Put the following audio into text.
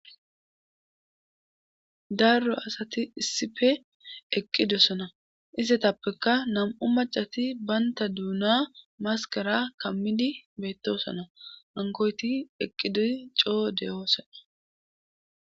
Darro asati issife eqqidosona istetappeka nam7u macati baynta duuna maskara kammidi beettosona ankoyti eqqidoy coo deyoosona.